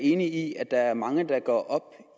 enig i at der er mange der går op